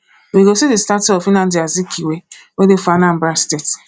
we go see the statue of nnamdi azikiwe wey dey for anambra state